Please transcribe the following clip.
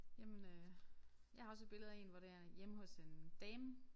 Jamen øh jeg har også et billede af én hvor det er hjemme hos en dame